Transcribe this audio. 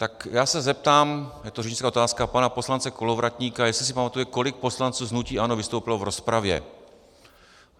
Tak já se zeptám, je to řečnická otázka, pana poslance Kolovratníka, jestli si pamatuje, kolik poslanců z hnutí ANO vystoupilo v rozpravě.